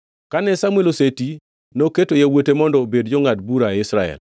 Kane Samuel oseti noketo yawuote mondo obed jongʼad bura e Israel.